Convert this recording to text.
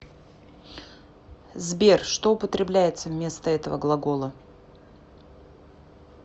сбер что употребляется вместо этого глагола